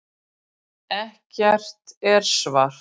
Ekkert er svart.